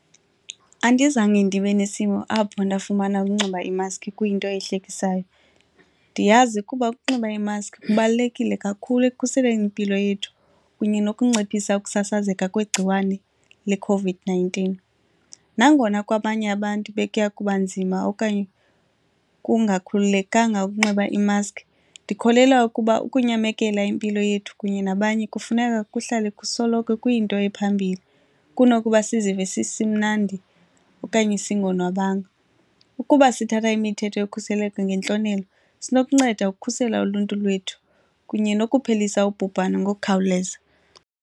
Andizange ndibe nesimo apho ndafumana ukunxiba iimaski kuyinto ehlekisayo, ndiyazi ukuba ukunxiba iimaski kubalulekile kakhulu ekukhuseleni impilo yethu kunye nokunciphisa ukusasazeka kwegciwane leCOVID-nineteen. Nangona kwabanye abantu bekuya kuba nzima okanye kungakhululekanga ukunxiba i-mask, ndikholelwa ukuba ukunyamekela impilo yethu kunye nabanye kufuneka kuhlale kusoloko kuyinto ephambili kunokuba sizive sisimnandi okanye singonwabanga. Ukuba sithatha imithetho yokhuseleko ngentlonelo sinokunceda ukukhusela uluntu lwethu kunye nokuphelisa ubhubhane ngokukhawuleza.